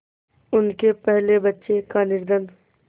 उनके पहले बच्चे का निधन